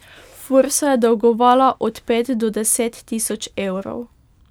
Fursu je dolgovala od pet do deset tisoč evrov.